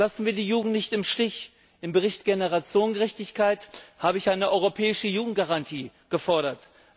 Lassen wir die Jugend nicht im Stich! Im Bericht Generationengerechtigkeit habe ich eine europäische Jugendgarantie gefordert.